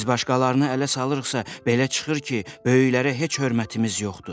Biz başqalarını ələ salırıqsa, belə çıxır ki, böyüklərə heç hörmətimiz yoxdur.